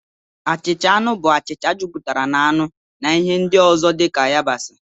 Achịcha anụ bụ achịcha jupụtara na anụ na ihe ndị ọzọ dị ka yabasị